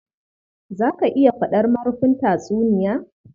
Za ka iya faɗar marufin tatsuniya?